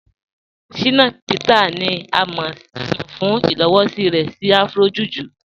Shina Peters ni à mọ̀ fún ilowọ̀sí rẹ̀ sí Afro-Juju.